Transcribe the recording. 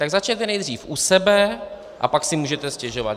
Tak začněte nejdřív u sebe a pak si můžete stěžovat.